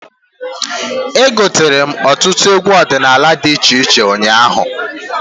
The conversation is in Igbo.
Egotere m ọtụtụ egwu ọdịnala dị iche iche ụnyaahụ.